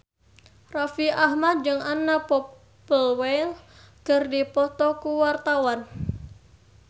Raffi Ahmad jeung Anna Popplewell keur dipoto ku wartawan